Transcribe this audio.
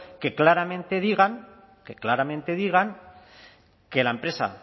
que claramente digan que la empresa